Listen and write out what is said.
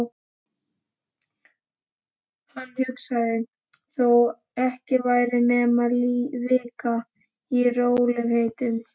Hann hugsaði: Þó ekki væri nema vika. í rólegheitum.